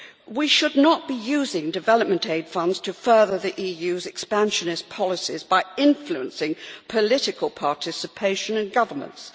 We should not be using development aid funds to further the EU's expansionist policies by influencing political participation and governance.